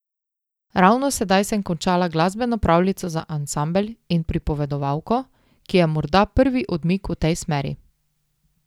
Ravno sedaj sem končala glasbeno pravljico za ansambel in pripovedovalko, ki je morda prvi odmik v tej smeri.